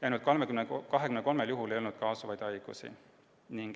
Ainult 23 juhul ei olnud kaasuvaid haigusi.